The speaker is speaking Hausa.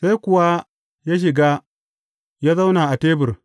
Sai kuwa ya shiga ya zauna a tebur.